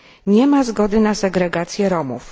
Nie ma zgody na segregację Romów.